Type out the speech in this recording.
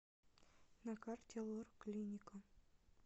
на карте лор клиника